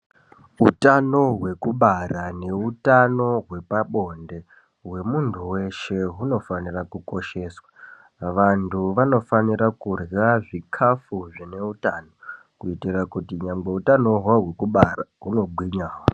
Hutano hwekubara nehutano hwepabonde hwemuntu weshe hunofanira kukosheswa, vantu vanofanira kurya zvikafu zvine hutano kuitira kuti nyangwe hutano hwahwekubara huno gwinyawo